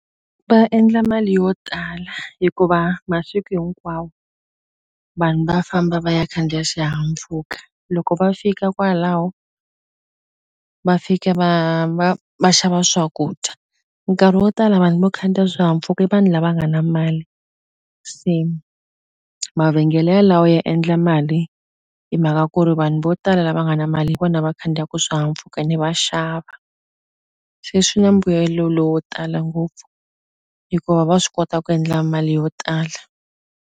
Va endla mali yo tala hikuva masiku hinkwawo vanhu va famba va ya khandziya xihahampfhuka loko va fika kwalaho va fika va va va xava swakudya nkarhi wo tala vanhu vo khandziya swihahampfuka i vanhu lava nga na mali se mavhengele yalawo ya endla mali hi mhaka ku ri vanhu vo tala lava nga na mali hi vona va khandziyaku swihahampfhuka ene va xava se swi na mbuyelo lowo tala ngopfu hikuva va swi kota ku endla mali yo tala.